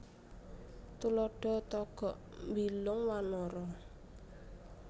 Tuladha Togog Mbilung Wanara